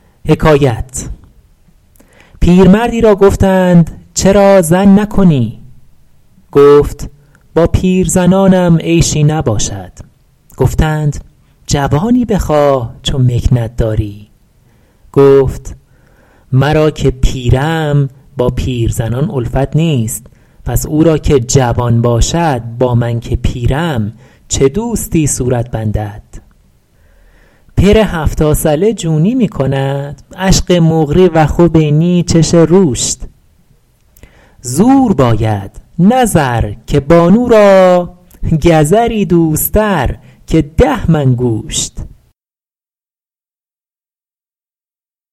پیرمرد ی را گفتند چرا زن نکنی گفت با پیرزنانم عیشی نباشد گفتند جوانی بخواه چو مکنت داری گفت مرا که پیرم با پیرزنان الفت نیست پس او را که جوان باشد با من که پیرم چه دوستی صورت بندد پر هفتا ثله جونی می کند عشغ مقری و خی بنی چش روشت زور باید نه زر که بانو را گزر ی دوست تر که ده من گوشت